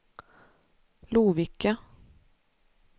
Lovikka